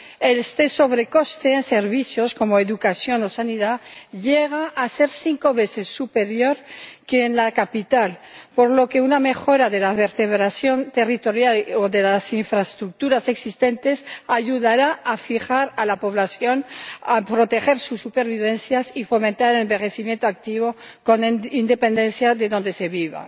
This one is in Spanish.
El exceso de coste en servicios como educación o sanidad llega a ser cinco veces superior al de la capital, por lo que una mejora de la vertebración territorial o de las infraestructuras existentes ayudará a fijar la población, a proteger su supervivencia y a fomentar el envejecimiento activo, con independencia de donde se viva.